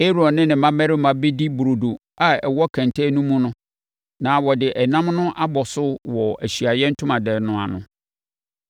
Aaron ne ne mmammarima bɛdi burodo a ɛwɔ kɛntɛn no mu no, na wɔde ɛnam no abɔ so wɔ Ahyiaeɛ Ntomadan no ano.